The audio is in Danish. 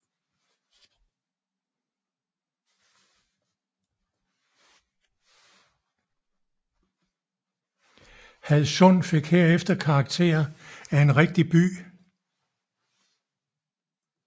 Hadsund fik herefter karakter af en rigtig by